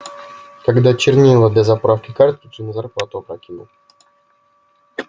когда чернила для заправки картриджей на зарплату опрокинул